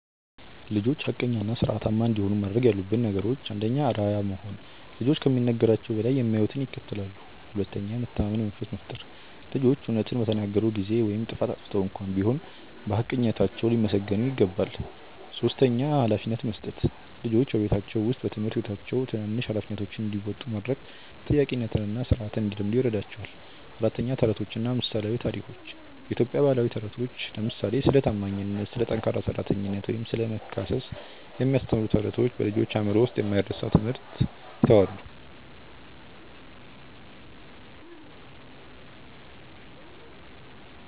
ልጆች ሐቀኛና ሥርዓታማ እንዲሆኑ ማድረግ ያሉብን ነገሮች፦ 1. አርአያ መሆን፦ ልጆች ከሚነገራቸው በላይ የሚያዩትን ይከተላሉ። 2. የመተማመን መንፈስ መፍጠር፦ ልጆች እውነትን በተናገሩ ጊዜ (ጥፋት አጥፍተው እንኳ ቢሆን) በሐቀኝነታቸው ሊመሰገኑ ይገባል። 3. ኃላፊነት መስጠት፦ ልጆች በቤታቸው ወይም በትምህርት ቤታቸው ትናንሽ ኃላፊነቶችን እንዲወጡ ማድረግ ተጠያቂነትንና ሥርዓትን እንዲለምዱ ይረዳቸዋል። 4. ተረቶችና ምሳሌያዊ ታሪኮች፦ የኢትዮጵያ ባህላዊ ተረቶች (ለምሳሌ ስለ ታማኝነት፣ ስለ ጠንካራ ሠራተኝነት ወይም ስለ መካሰስ የሚያስተምሩ ተረቶች) በልጆች አእምሮ ውስጥ የማይረሳ ትምህርት ይተዋሉ።